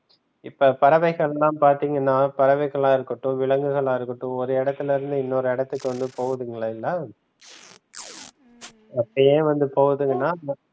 இப்ப பறவைகள் எல்லாம் பாத்தீங்கன்னா பறவைகளா இருக்கட்டும் விலங்குகளா இருக்கட்டும் ஒரு இடத்துல இருந்து இன்னொரு இடத்துக்கு வந்து போகுது இல்லைங்க அது ஏன் வந்து போகுதுன்னா